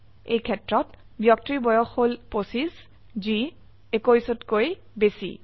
এইক্ষেত্ৰত ব্যক্তিৰ বয়স হল 25 যি 21কৈ বেচি